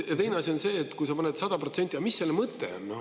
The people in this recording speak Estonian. Ja teine asi on see, et kui sa paned 100%, siis mis selle mõte on?